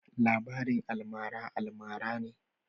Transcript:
labarin almara almara ne.